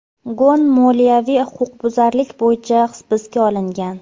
Gon moliyaviy huquqbuzarlik bo‘yicha hibsga olingan.